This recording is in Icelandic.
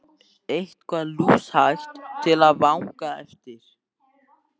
Eitthvað lúshægt til að vanga eftir!